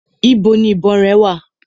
Ibo ni ìbọn rẹ wà?